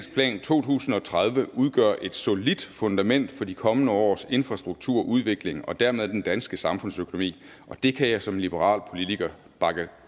to tusind og tredive udgør et solidt fundament for de kommende års infrastrukturudvikling og dermed den danske samfundsøkonomi og det kan jeg som liberal politiker bakke